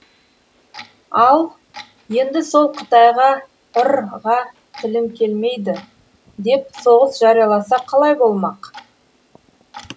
ал енді сол қытайға р ға тілін келмейді деп соғыс жарияласақ қалай болмақ